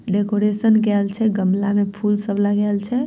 Decoration कऐल छै गमला में फूल सब लगाऐल छै।